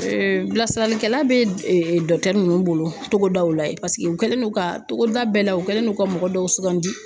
bilasiralikɛla bɛ nunnu bolo togodaw la yen paseke u kɛlen no ka togoda bɛɛ la u kɛlen don ka mɔgɔ dɔw sugandi.